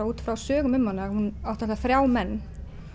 út frá sögum um hana hún átti þrjá menn